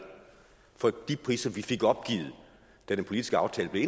fra de priser vi fik opgivet da den politiske aftale blev